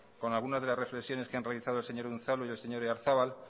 con algunas de las reflexiones que ha realizado el señor unzalu y el señor oyarzabal